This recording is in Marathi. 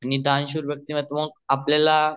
दान शूर व्यक्तिमत्व आपल्याला